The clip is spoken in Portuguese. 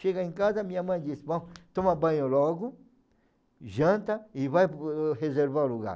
Chega em casa, minha mãe diz, toma banho logo, janta e vai lreservar o lugar.